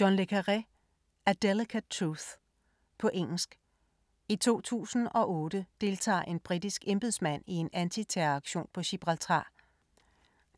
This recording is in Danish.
Le Carre, John: A delicate truth På engelsk. I 2008 deltager en britisk embedsmand i en antiterroraktion på Gibraltar.